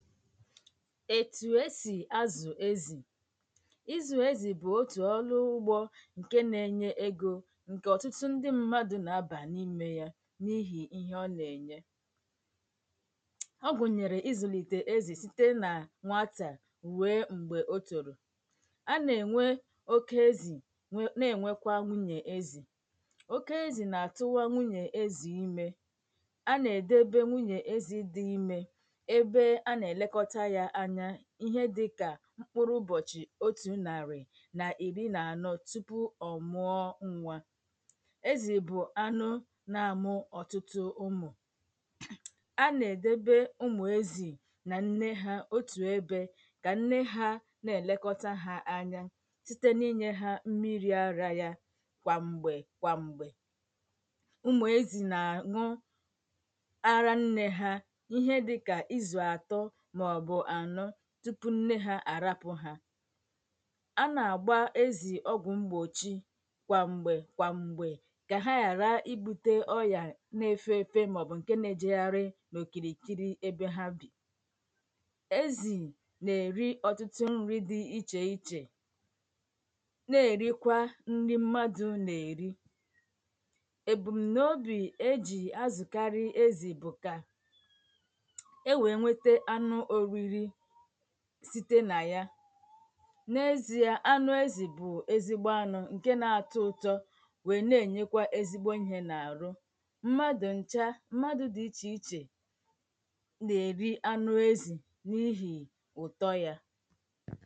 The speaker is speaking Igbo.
ètù esì azụ̀ ezì ịzụ̀ ezì bụ̀ otù ọlụ ụgbọ̄ ǹke na-enye egō ǹkè ọ̀tụtụ ndị mmadụ̄ nà-abà n’imē ya n’ihì íhé ọ nà-ènye ọ gụ̀nyèrè ịzụ̀lìtè ezì site nà nwatà rue m̀gbè o tòrò a nà-ènwe oke ezì nà-ènwekwa nwunyè ezì oke ezì nà-àtụwa nwunyè ezì imē a nà-èdebe nwunyè ezī dị imē ebe a nà-èlekọta ya anya ihe dịka mkpụrụ ụbọ̀chị̀ otū nàrị̀ nà ìri nà ànọ tupu ọ̀ mụọ nwā ezì bụ̀ anụ na-amụ ọ̀tụtụ ụmụ̀ a nà-èdebe ụmụ̀ ezì nà ǹne ha otù ebē kà ǹne ha na-èlekọta ha anya site n'inyē ha mmirī arā ya kwàm̀gbè kwàm̀gbè ụmụ̀ ezì nà-àn̄ụ ara nnē ha ihe dịkà izù àtọ màọ̀bụ̀ ànọ tupu nne ha àrapụ̄ ha a nà-àgba ezì ọgwụ̀ mgbòchi kwàm̀gbè kwàm̀gbè kà ha yàra ibūtē ọyā na-efe efe màọ̀bụ̀ ǹke na-ejegharị n’òkìrìkiri ebe ha bì ezì nà-èri ọ̀tụtụ nrị̄ dị ichè ichè na-èrikwa nri mmadụ̄ nà-èri èbùmnaobì e jì azụ̀karị ezì bụ̀ kà e wèe nwete anụ oriri site nà ya n’ezī ya anụ̄ ezì bụ̀ ezigbo anụ̄ ǹke na-atọ ụtọ wèe na-ènyekwa ezigbo ihē n’àhụ mmadụ̀ ǹcha mmadụ ̄dị ichè ichè nà-èri anụ ezì n’ihì ụ̀tọ yā